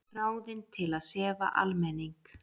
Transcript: Ráðin til að sefa almenning